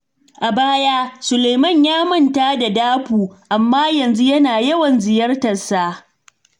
A baya, Sulaiman ya manta da Dapo, amma yanzu yana yawan ziyartarsa.